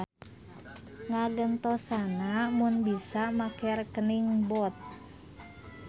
Ngagentosna mung bisa make rekening bot.